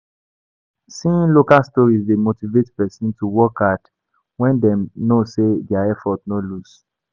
Seeing local stories dey motivate person to work hard when dem know sey their effort no loss